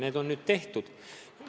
Need on nüüd tehtud.